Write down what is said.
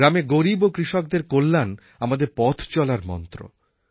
গ্রামে গরীব ও কৃষকদের কল্যাণ আমাদের পথ চলার মন্ত্র